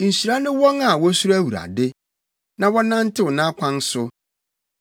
Nhyira ne wɔn a wosuro Awurade, na wɔnantew nʼakwan so.